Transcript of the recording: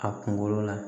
A kunkolo la